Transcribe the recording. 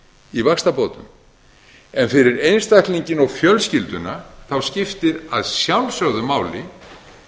í vaxtabótum en fyrir einstaklinginn og fjölskylduna skiptir að sjálfsögðu máli